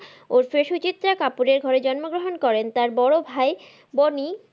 ওরফে সুচিত্রা কাপুরের ঘরে জন্মগ্রহন করেন তার বড় ভাই বনি।